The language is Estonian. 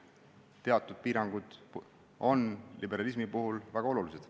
Teatud piirangud on liberalismi puhul väga olulised.